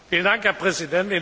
Herr Präsident!